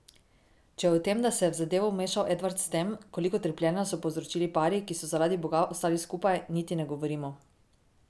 Če o tem, da se je v zadevo vmešal Edvard s tem, koliko trpljenja so povzročili pari, ki so zaradi Boga ostali skupaj, niti ne govorimo.